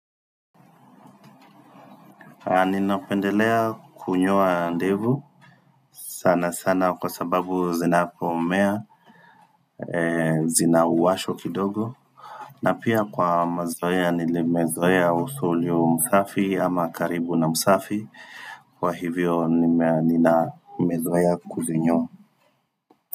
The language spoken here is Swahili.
Ninapendelea kunyoa ndevu sana sana kwa sababu zinapomea zina uwasho kidogo na pia kwa mazoea nile mezoea uso ulio msafi ama karibu na msafi Kwa hivyo nina mezoea kuzinyoa.